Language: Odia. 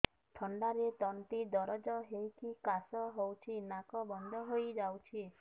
ଥଣ୍ଡାରେ ତଣ୍ଟି ଦରଜ ହେଇକି କାଶ ହଉଚି ନାକ ବନ୍ଦ ହୋଇଯାଉଛି